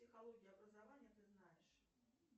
психология образования ты знаешь